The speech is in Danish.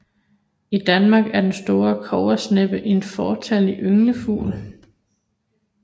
I Danmark er den store kobbersneppe en fåtallig ynglefugl